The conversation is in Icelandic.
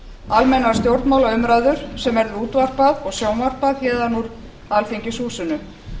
almennar stjórnmálaumræður sem verður útvarpað og sjónvarpað héðan úr alþingishúsinu